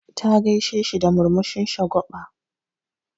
Ta gaisheshi da murmushin shagwa6a.